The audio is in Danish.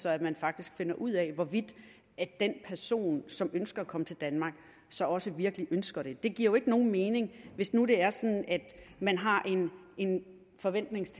at man faktisk finder ud af hvorvidt den person som ønsker at komme til danmark så også virkelig ønsker det det giver jo ikke nogen mening hvis nu det er sådan at man har en forventning